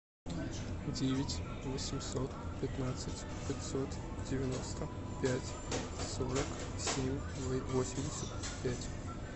девять восемьсот пятнадцать пятьсот девяносто пять сорок семь восемьдесят пять